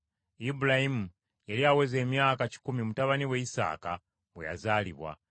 Ibulayimu yali aweza emyaka kikumi mutabani we Isaaka bwe yazaalibwa.